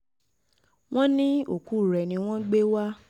wọ́n ní òkú rẹ̀ ni wọ́n gbé wá